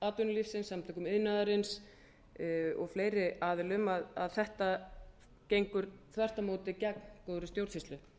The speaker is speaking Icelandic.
atvinnulífsins samtökum iðnaðarins og fleiri aðilum að þetta gengur þvert á móti gegn góðri stjórnsýslu